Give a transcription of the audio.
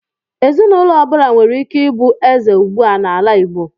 Ezinụlọ ọbụla nwere ike ịbụ eze ugbu a n'ala Igbo.